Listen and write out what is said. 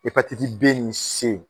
Hepatiti B ni S